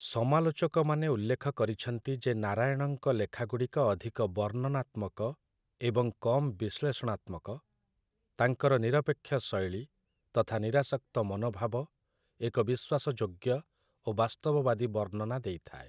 ସମାଲୋଚକମାନେ ଉଲ୍ଲେଖ କରିଛନ୍ତି ଯେ ନାରାୟଣଙ୍କ ଲେଖାଗୁଡ଼ିକ ଅଧିକ ବର୍ଣ୍ଣନାତ୍ମକ ଏବଂ କମ୍ ବିଶ୍ଳେଷଣାତ୍ମକ, ତାଙ୍କର ନିରପେକ୍ଷ ଶୈଳୀ ତଥା ନିରାସକ୍ତ ମନୋଭାବ ଏକ ବିଶ୍ୱାସଯୋଗ୍ୟ ଓ ବାସ୍ତବବାଦୀ ବର୍ଣ୍ଣନା ଦେଇଥାଏ ।